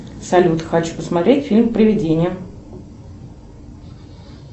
салют хочу посмотреть фильм привидение